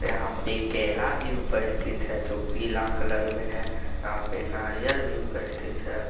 यहां पे केला भी उपस्थित है जो पीला कलर मे है यहां पे नारियल भी उपस्थित है।